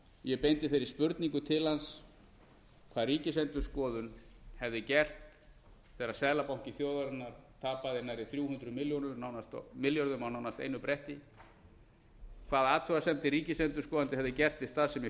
ég beindi þeirri spurningu til hans hvað ríkisendurskoðun hefði gert þegar seðlabanki þjóðarinnar tapaði nærri þrjú hundruð milljörðum nánast á einu bretti hvaða athugasemdir ríkisendurskoðandi hefði gert við starfsemi